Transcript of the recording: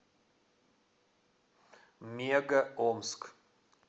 мега омск